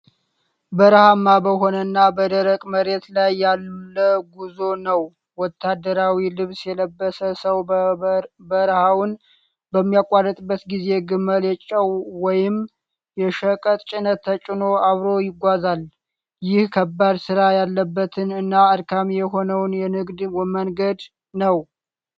በረሃማ በሆነ እና በደረቅ መሬት ላይ ያለ ጉዞ ነው። ወታደራዊ ልብስ የለበሰ ሰው በረሃውን በሚያቋርጥበት ጊዜ ግመል የጨው ወይም የሸቀጥ ጭነት ተጭኖ አብሮት ይጓዛል። ይህ ከባድ ሥራ ያለበትን እና አድካሚ የሆነውን የንግድ መንገድ ነው።